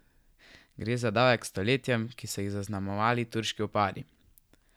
Gre za davek stoletjem, ki so jih zaznamovali turški vpadi?